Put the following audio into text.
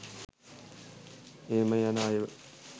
එහෙම යන අයව